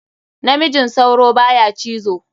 Namijin sauro baya cizo.